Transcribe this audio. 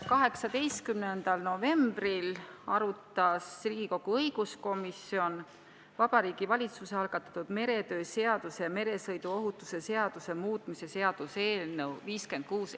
18. novembril arutas Riigikogu õiguskomisjon Vabariigi Valitsuse algatatud meretöö seaduse ja meresõiduohutuse seaduse muutmise seaduse eelnõu 56.